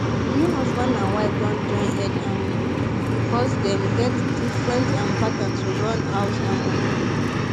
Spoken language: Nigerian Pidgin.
new husband and wife don jam head um because dem get different um pattern to run house um money